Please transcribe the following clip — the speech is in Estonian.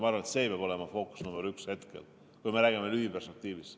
Ma arvan, et see peab olema hetkel fookus number üks, kui me räägime lühiperspektiivist.